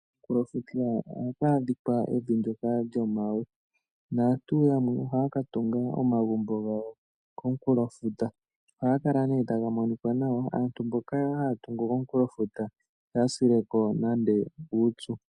Komunkulofuta ohaku adhika evi ndyoka lyomawe, naantu yamwe ohayaka tunga omagumbo gawo komunkulofuta, nohaga kala taga minika nawa. Aantu mboka haya tungu komunkulofuta ihaya sile ko nande uupyu.